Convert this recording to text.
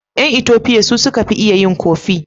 Yan Ethopians su suka fi iya yin "coffee".